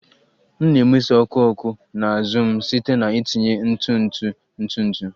M na-emeso ọkụ ọkụ na azụ m site na itinye ntụ ntụ ntụ ntụ